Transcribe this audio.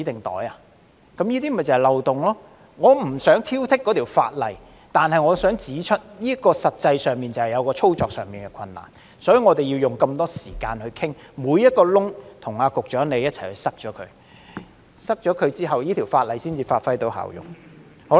我不想挑剔這項法例，但我想指出這些實際上的操作困難，所以我們要花那麼多時間討論，與局長一起堵塞每個漏洞，這樣法例才能發揮效用。